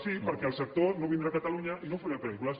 sí perquè el sector no vindrà a catalunya i no oferirà pel·lícules